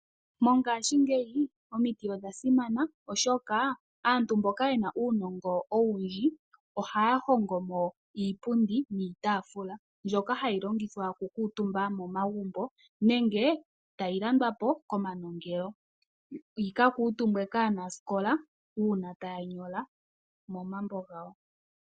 Mongashingeyi omiti odhasimana, oshoka aantu mboka yena uunongo owundji ohaya hongo mo iipundi niitaafula mbyoka hayi longithwa okukuutumba momagumbo, nenge tayi landwapo komanongelo yikakuutumbwe kaanasikola uuna taya nyola momambo gawo.